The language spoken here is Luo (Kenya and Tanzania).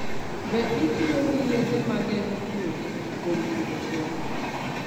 Be itiyo gi yedhe ma geng'o tuoche kuom pidho gwen?